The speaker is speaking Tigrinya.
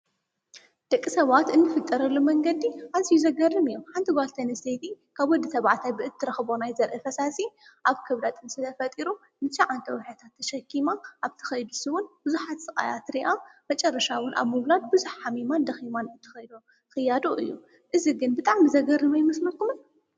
ደቂ ሰባት እንፍጠረሉ መንገዲ ኣዚዩ ዘገርም እዩ፤ ሓንቲ ጓል ኣንስተይቲ ካብ ወዲ ተብዓታይ ብእትረክቦ ናይ ዘርኢ ፈሳሲ ኣብ ከብዳ ጥንሲ ተፈጢሩ ንትሸዓተ ወርሒ ተሸኪማ ኣብቲ ከይዲ ንሱ ውን ቡዝሓት ስቃያት ርእያ መጨረሻ ዉን ኣብ ምውላድ ቡዝሕ ሓሚማን ደኪማን ትከዶ ክያዶ እዩ። እዚ ግን ብጣዕሚ ዘገርም ኣይመስለኩምን?